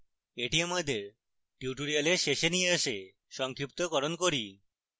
এটি আমাদের tutorial শেষে নিয়ে আসে সংক্ষিপ্তকরণ করি